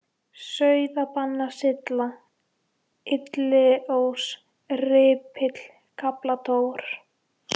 Sauðabanasylla, Illiós, Rípill, Kaplatór